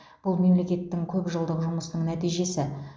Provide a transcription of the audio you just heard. бұл мемлекеттің көп жылдық жұмысының нәтижесі